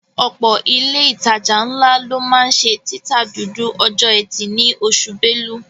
Ọ̀pọ̀ ilé ìtajà ńlá ló máa ń ṣe títa dúdú ọjọ́ ẹtì ní oṣù Belú